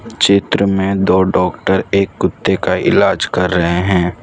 चित्र में दो डॉक्टर एक कुत्ते का इलाज कर रहे हैं।